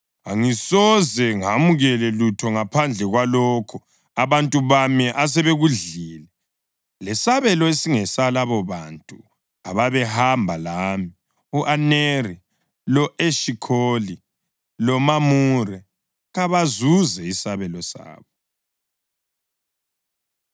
Angisoze ngamukele lutho ngaphandle kwalokho abantu bami asebekudlile lesabelo esingesalabobantu ababehamba lami, u-Aneri, lo-Eshikholi loMamure. Kabazuze isabelo sabo.”